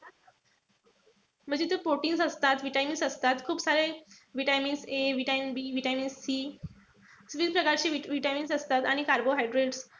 म्हणजे ते proteins असतात, vitamins. खूप सारे vitamins a vitamins b vitamins c विविध प्रकारचे vitamins असतात. आणि carbohydrates.